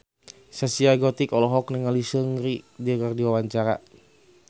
Zaskia Gotik olohok ningali Seungri keur diwawancara